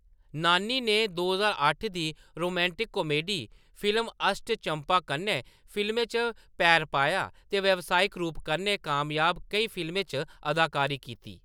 नानी ने दो ज्हार अट्ठ दी रोमांटिक कॉमेडी फिल्म अष्ट चम्मा कन्नै फिल्में च पैर पाया ते व्यावसायिक रूप कन्नै कामयाब केईं फिल्में च अदाकारी कीती।